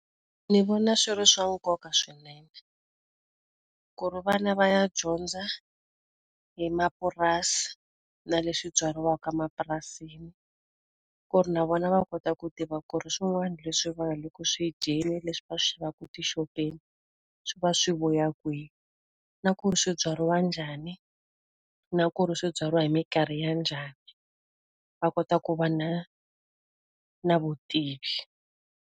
Ndzi vona swi ri swa nkoka swinene, ku ri vana va ya dyondza hi mapurasi na leswi byariwaka emapurasini. Ku ri na vona va kota ku tiva ku ri swin'wana leswi va nga le ku swi dyeni, leswi va swi xavaka etixopeni swi va swi vuya kwini. Na ku ri swi byariwa njhani, na ku ri swi byariwa hi minkarhi ya njhani Va kota ku va na na vutivi.